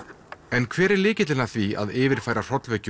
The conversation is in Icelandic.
en hver er lykillinn að því að yfirfæra hrollvekju